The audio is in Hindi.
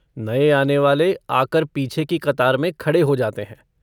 नये आनेवाले आकर पीछे की कतार में खड़े हो जाते हैं।